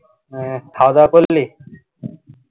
হ্যা খাওয়া দাওয়া করলি